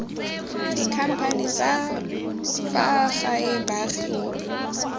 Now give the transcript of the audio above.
dikhamphane tsa fa gae baagi